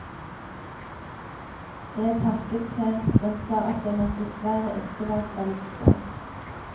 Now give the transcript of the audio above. Jeg takket pent, men sa at jeg nok dessverre ikke var kvalifisert.